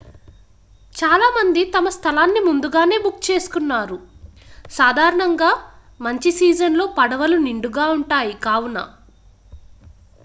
చాలా మంది తమ స్థలాన్ని ముందుగానే బుక్ చేసుకున్నారు సాధారణంగా మంచి సీజన్ లో పడవలు నిండుగా ఉంటాయి కావున